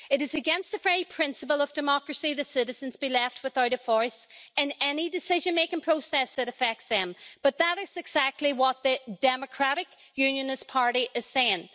It is against the very principle of democracy that the citizens be left without a voice in any decision making process that affects them, but that is actually what the Democratic Unionist Party is saying.